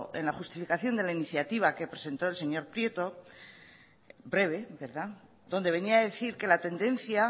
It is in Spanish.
en la justificación de la iniciativa que presentó el señor prieto breve donde venía a decir que la tendencia